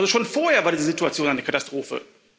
Schon vorher war die Situation eine Katastrophe.